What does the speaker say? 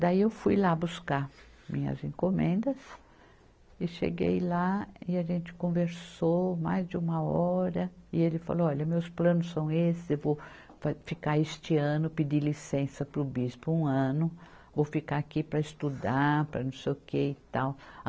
Daí eu fui lá buscar minhas encomendas e cheguei lá e a gente conversou mais de uma hora e ele falou, olha, meus planos são esses, eu vou fa, ficar este ano, pedir licença para o bispo um ano, vou ficar aqui para estudar, para não sei o que e tal.